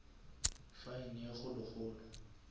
fine ye kgolo kgolo